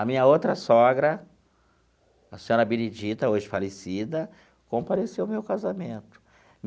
A minha outra sogra, a senhora Benedita, hoje falecida, compareceu ao meu casamento.